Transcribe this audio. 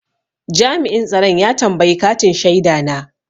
Jami'in tsaron ya tambayi katin shaida na.